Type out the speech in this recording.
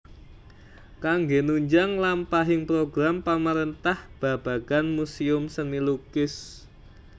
Kanggé nunjang lampahing program pamarentah babagan muséum seni lukis